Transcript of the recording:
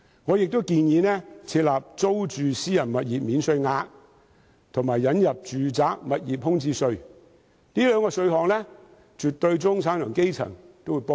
我亦建議設立租住私人物業免稅額，以及引入住宅物業空置稅，這兩個項目絕對有助中產和基層市民。